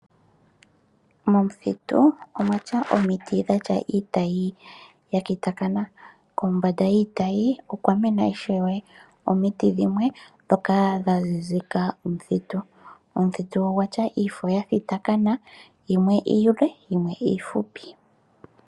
Momuthitu omwa tya omiti dha tya iitayi ya kitakana. Kombanda yiitayi okwa mena ishewe omiti dhimwe ndhoka dha zizika omuthitu. Omuthitu ogwa tya iifo ya thitakana, yimwe iile yimwe iifupi.